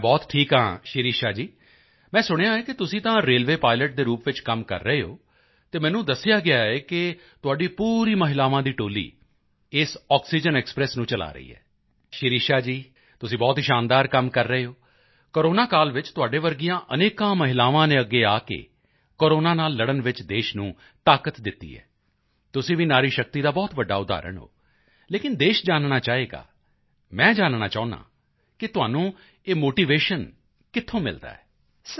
ਮੈਂ ਬਹੁਤ ਠੀਕ ਹਾਂ ਸਿਰਿਸ਼ਾ ਜੀ ਮੈਂ ਸੁਣਿਆ ਹੈ ਕਿ ਤੁਸੀਂ ਤਾਂ ਰੇਲਵੇਅ ਪਾਈਲਟ ਦੇ ਰੂਪ ਵਿੱਚ ਕੰਮ ਕਰ ਰਹੇ ਹੋ ਅਤੇ ਮੈਨੂੰ ਦੱਸਿਆ ਗਿਆ ਕਿ ਤੁਹਾਡੀ ਪੂਰੀ ਮਹਿਲਾਵਾਂ ਦੀ ਟੋਲੀ ਇਹ ਆਕਸੀਜਨ ਐਕਸਪ੍ਰੈਸ ਨੂੰ ਚਲਾ ਰਹੀ ਹੈ ਸ਼ਿਰਿਸ਼ਾ ਜੀ ਤੁਸੀਂ ਬਹੁਤ ਹੀ ਸ਼ਾਨਦਾਰ ਕੰਮ ਕਰ ਰਹੇ ਹੋ ਕੋਰੋਨਾ ਕਾਲ ਵਿੱਚ ਤੁਹਾਡੇ ਵਰਗੀਆਂ ਅਨੇਕਾਂ ਮਹਿਲਾਵਾਂ ਨੇ ਅੱਗੇ ਆ ਕੇ ਕੋਰੋਨਾ ਨਾਲ ਲੜਨ ਵਿੱਚ ਦੇਸ਼ ਨੂੰ ਤਾਕਤ ਦਿੱਤੀ ਹੈ ਤੁਸੀਂ ਵੀ ਨਾਰੀ ਸ਼ਕਤੀ ਦਾ ਬਹੁਤ ਵੱਡਾ ਉਦਾਹਰਣ ਹੋ ਲੇਕਿਨ ਦੇਸ਼ ਜਾਨਣਾ ਚਾਹੇਗਾ ਮੈਂ ਜਾਨਣਾ ਚਾਹੁੰਦਾ ਹਾਂ ਕਿ ਤੁਹਾਨੂੰ ਇਹ ਮੋਟੀਵੇਸ਼ਨ ਕਿੱਥੋਂ ਮਿਲਦਾ ਹੈ